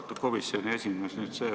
Austatud komisjoni esimees!